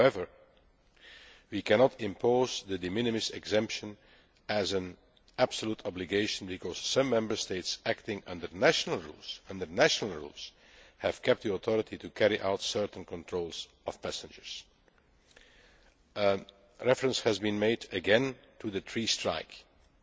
However, we cannot impose the de minimis exemption as an absolute obligation, because some Member States acting under national rules have kept the authority to carry out certain controls of passengers. Reference has been made again to the three strike law